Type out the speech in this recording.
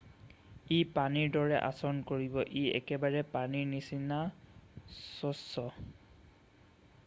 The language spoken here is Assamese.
"""ই পানীৰ দৰে আচৰণ কৰিব। ই একেবাৰে পানীৰ নিচিনা চচ্চ।""